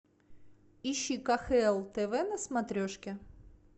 ищи кхл тв на смотрешке